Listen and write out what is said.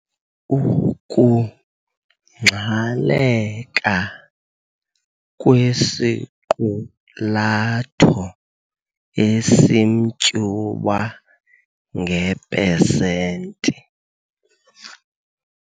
Ukungxaleka kwesiqulatho esimtyuba nge-pesenti.